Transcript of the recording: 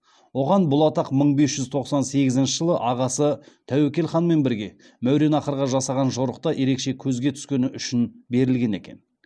оған бұл атақ мың бес жүз тоқсан сегізінші жылы ағасы тәуекел ханмен бірге мауреннахрға жасаған жорықта ерекше көзге түскені үшін берілген екен